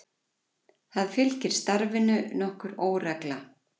Það fylgdi starfinu nokkur óregla.